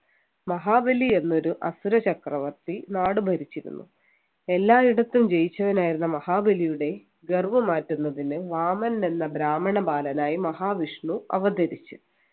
മഹാബലി എന്നൊരു അസുര ചക്രവർത്തി നാട് ഭരിച്ചിരുന്നു എല്ലായിടത്തും ജയിച്ചവൻ ആയിരുന്ന മഹാബലിയുടെ ഗർവ് മാറ്റുന്നതിന് വാമനൻ എന്ന ബ്രാഹ്മണ ബാലനായി മഹാവിഷ്ണു അവതരിച്ചു